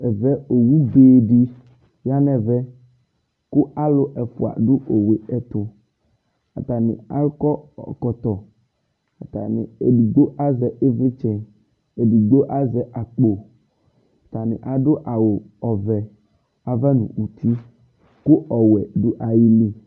Ɛvɛ owu be did ɣa nɛ Ku alu ɛfʋa du owu etu atani akɔ ɔkɔtɔ edigbo aʒɛ ivlitsɛ edigbo aʒɛ akpo atani adu awu ɔvɛ ava nu uti Ku ɔwɔɛ du ayili